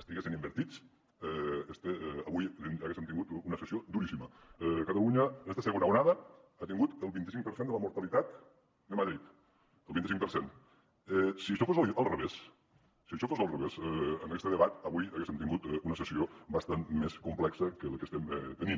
estiguessin invertits avui haguéssem tingut una sessió duríssima catalunya en aquesta segona onada ha tingut el vint cinc per cent de la mortalitat de madrid el vint cinc per cent si això fos al revés en este debat avui haguéssem tingut una sessió bastant més complexa que la que estem tenint